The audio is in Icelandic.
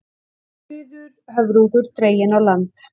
Dauður höfrungur dreginn á land